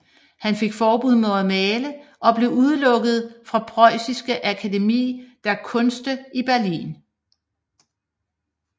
Han fik forbud mod at male og blev udelukket fra Preußische Akademie der Künste i Berlin